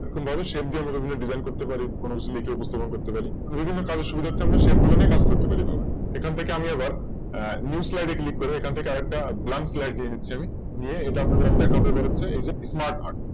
এরকম ভাবে Same design করতে পারি কোন Slide ও উপস্থাপন করতে পারি বিভিন্ন কাজের সুবিধার্থে আমরা বিভিন্ন Shape গুলো নিয়ে কাজ করতে পারি এখান থেকে আমি আবার New slide এ Click করে এখান থেকে আরেকটা Blank slide আমি নিয়ে এটা আপনাদের এবার আমি দেখাবো হচ্ছে Smart art